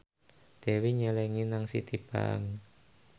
Dewi nyelengi nang Citibank